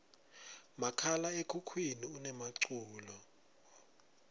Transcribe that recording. makhala ekhukhwini unemaculo